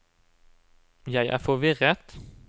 jeg er forvirret